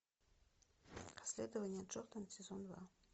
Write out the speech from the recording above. расследование джордан сезон два